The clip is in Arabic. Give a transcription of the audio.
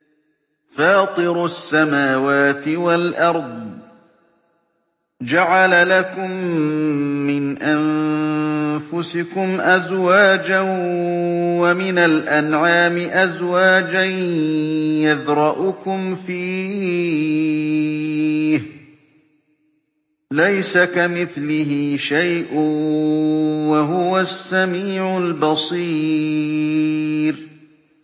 فَاطِرُ السَّمَاوَاتِ وَالْأَرْضِ ۚ جَعَلَ لَكُم مِّنْ أَنفُسِكُمْ أَزْوَاجًا وَمِنَ الْأَنْعَامِ أَزْوَاجًا ۖ يَذْرَؤُكُمْ فِيهِ ۚ لَيْسَ كَمِثْلِهِ شَيْءٌ ۖ وَهُوَ السَّمِيعُ الْبَصِيرُ